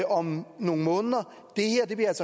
om nogle måneder